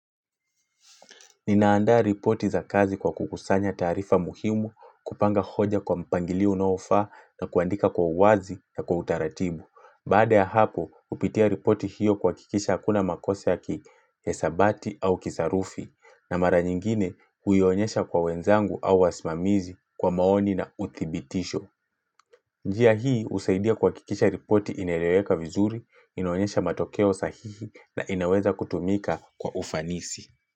Nina andaa ripoti za kazi kwa kukusanya taarifa muhimu kupanga hoja kwa mpangilio unaofaa na kuandika kwa uwazi na kwa utaratibu. Baada ya hapo, hupitia ripoti hiyo kuhakikisha hakuna makosa ya kihesabati au kisarufi, na mara nyingine huionyesha kwa wenzangu au wasimamizi kwa maoni na uthibitisho. Njia hii, husaidia kuhakikisha ripoti inerereka vizuri, inaonyesha matokeo sahihi na inaweza kutumika kwa ufanisi.